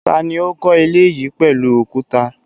Ta ni ó kọ́ ilé yìí pẹ̀lú òkúta?